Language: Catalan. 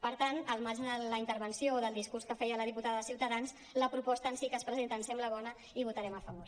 per tant al marge de la intervenció del discurs que feia la diputada de ciutadans la proposta en si que es presenta ens sembla bona i hi votarem a favor